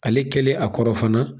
Ale kɛlen a kɔrɔ fana